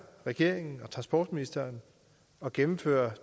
regeringen og transportministeren at gennemføre